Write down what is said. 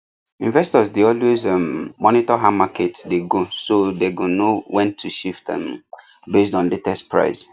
investors dey always um monitor how market dey go so them go know when to shift um based on latest price